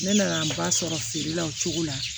Ne nana ba sɔrɔ feere la o cogo la